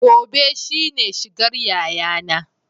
Gobe shine shigar yayana